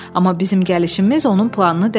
Amma bizim gəlişimiz onun planını dəyişib.